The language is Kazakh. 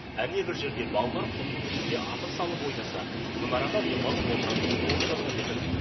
әне бір жерде балалар құмның үстінде асыр салып ойнаса мына арада демалып отыратын орын жасап едім